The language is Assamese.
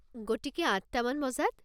গতিকে, আঠটা মান বজাত?